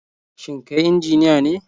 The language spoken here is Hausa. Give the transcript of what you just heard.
Shin kai injiniya ne?